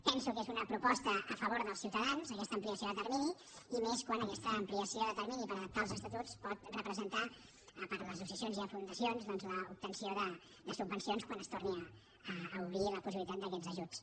penso que és una proposta a favor dels ciutadans aquesta ampliació de termini i més quan aquesta ampliació de termini per adaptar els estatuts pot re·presentar a part d’associacions i fundacions doncs l’obtenció de subvencions quan es torni a obrir la pos·sibilitat d’aquests ajuts